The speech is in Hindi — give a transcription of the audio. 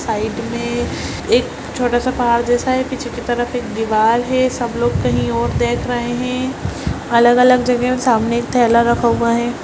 साइड में एक छोटा-सा पहाड़ जैसा है पीछे तरफ एक दीवाल है सब लोग कही और देख रहें हैं| अलग-अलग जगह मे सामने एक थैला रखा हुआ है।